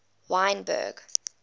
wynberg